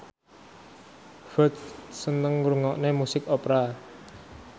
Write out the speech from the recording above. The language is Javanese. Ferdge seneng ngrungokne musik opera